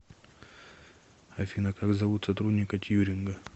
афина как зовут сотрудника тьюринга